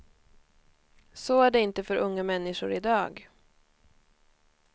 Så är det inte för unga människor i dag.